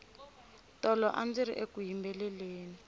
tolo andziri eku yimbeleleni